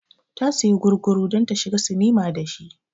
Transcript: Ta siya gurguru don ta shiga sinima da shi